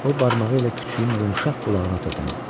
O barmağı ilə küçüyün yumşaq qulağına toxundu.